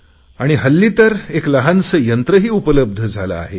आणि हल्ली तर एक लहानसे यंत्रही उपलब्ध झाले आहे